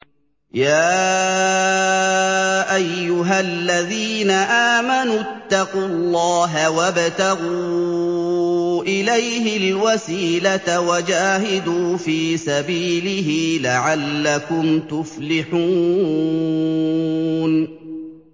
يَا أَيُّهَا الَّذِينَ آمَنُوا اتَّقُوا اللَّهَ وَابْتَغُوا إِلَيْهِ الْوَسِيلَةَ وَجَاهِدُوا فِي سَبِيلِهِ لَعَلَّكُمْ تُفْلِحُونَ